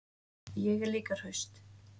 Ég er líka hraust.